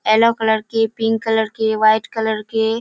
yellow colour के pink colour के white colour के --